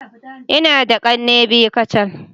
Ina da kanne biyu kacal.